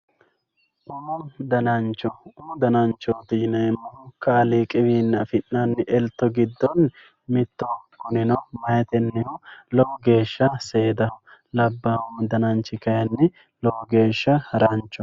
umu danancho umu dananchooti yineemohu kaaliiqi wiinni afi'nanni elto giddonni mittoho kunino meyaatennihu lowo geeshsha seedaho labbaahu dananchi kayiini lowo geeshsha haranchoho.